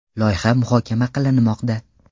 Loyiha muhokama qilinmoqda.